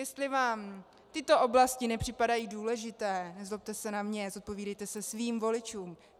Jestli vám tyto oblasti nepřipadají důležité, nezlobte se na mě, zodpovídejte se svým voličům.